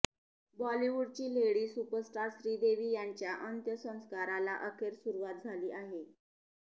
बॉलिवूडची lady superstar Sridevi यांच्या अंत्यसंस्काराला अखेर सुरुवात झाली आहे